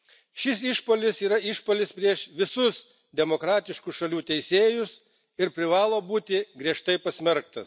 Šis išpuolis yra išpuolis prieš visus demokratiškų šalių teisėjus ir privalo būti griežtai pasmerktas.